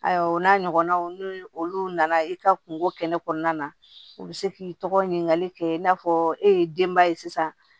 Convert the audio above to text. Ayiwa o n'a ɲɔgɔnnaw ni olu nana i ka kungo kɛnɛ kɔnɔna na u bi se k'i tɔgɔ ɲinikali kɛ i n'a fɔ e ye denba ye sisan